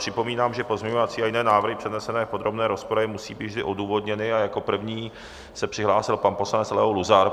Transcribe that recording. Připomínám, že pozměňovací a jiné návrhy přednesené v podrobné rozpravě musí být vždy odůvodněny, a jako první se přihlásil pan poslanec Leo Luzar.